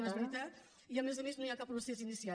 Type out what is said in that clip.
no és veritat i a més a més no hi ha cap procés iniciat